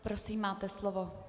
Prosím, máte slovo.